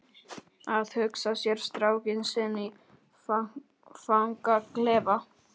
Að hugsa sér strákinn sinn í fangaklefa?